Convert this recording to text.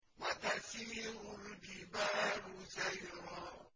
وَتَسِيرُ الْجِبَالُ سَيْرًا